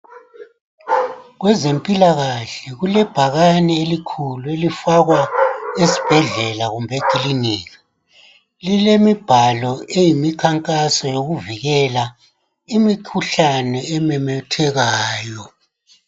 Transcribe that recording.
Kwezemphilakahle kulebhakani elikhulu elifakwa esibhedlela kumbe ekilika. Lilemibhalo eyimikhankaso yokuvikela imikhuhlane ememethekayo.